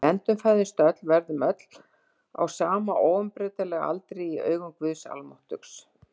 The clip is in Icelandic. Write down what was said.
Við endurfæðumst öll, verðum öll á sama óumbreytanlega aldri í augum Guðs almáttugs.